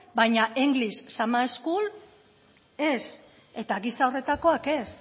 baina english school ez eta gisa horretakoak ez